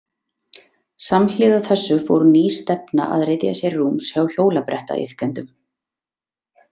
Samhliða þessu fór ný stefna að ryðja sér rúms hjá hjólabrettaiðkendum.